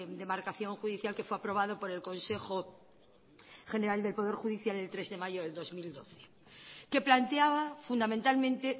demarcación judicial que fue aprobado por el consejo general del poder judicial el tres de mayo de dos mil doce que planteaba fundamentalmente